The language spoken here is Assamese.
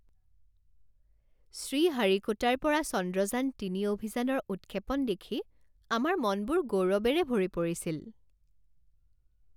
শ্ৰীহাৰিকোটাৰ পৰা চন্দ্ৰযান তিনি অভিযানৰ উৎক্ষেপণ দেখি আমাৰ মনবোৰ গৌৰৱেৰে ভৰি পৰিছিল।